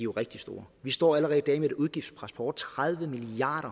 rigtig store vi står allerede i dag med et udgiftspres på over tredive milliard